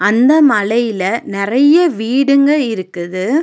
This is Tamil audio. அந்த மலையில நெறையா வீடுங்க இருக்குது.